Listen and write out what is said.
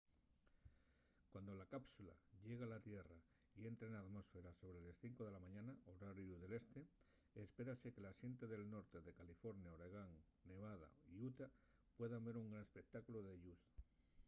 cuando la cápsula llegue a la tierra y entre na atmósfera sobre les 5 de la mañana horariu del este espérase que la xente del norte de california oregón nevada y utah pueda ver un gran espectáculu de lluz